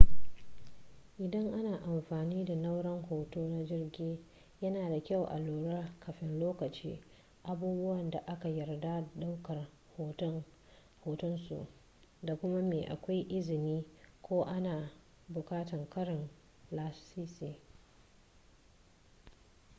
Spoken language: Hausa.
idan ana amfani da nau'rar hoto na jirgi yana da kyua a lura kafin lokaci abubuwan da aka yarda da daukar hoton su da kuma me akwai izini ko ana bukatan karin lasisi